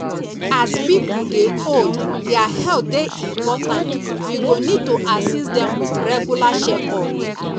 as pipo dey old their health dey important we go need to assist dem with regular checkup